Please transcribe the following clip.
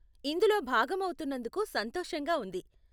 ఇందులో భాగం అవుతున్నందుకు సంతోషంగా ఉంది.